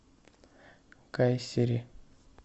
кайсери